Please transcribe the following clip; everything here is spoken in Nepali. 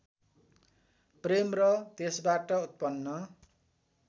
प्रेम र त्यसबाट उत्पन्न